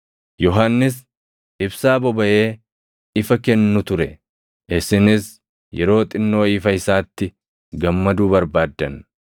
Yohannis ibsaa bobaʼee ifa kennu ture; isinis yeroo xinnoo ifa isaatti gammaduu barbaaddan.